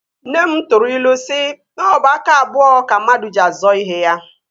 Nne m tụrụ ilu si na ọ bụ aka abụọ ka mmadụ ji azọ ihe ya